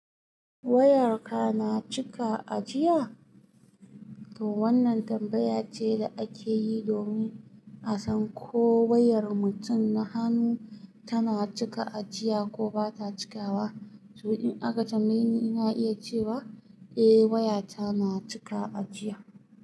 Wayarka na cika ajiya? To wannan tambaya ce da ake yi domin a san ko wayar mutum na hannu tana cika ajiya ko ba ta cika wa. To in aka tambaye ni, ina iya cewa eh waya ta na cika ajiya.